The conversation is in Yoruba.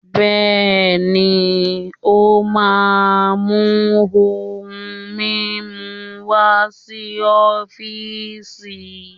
Bẹ́ẹ̀ni, o máà mu ohun mimu wá si ọfiisi.